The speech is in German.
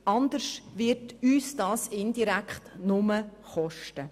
Sonst wird uns das viel Geld kosten.